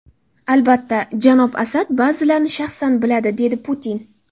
Albatta, janob Asad ba’zilarni shaxsan biladi”, dedi Putin.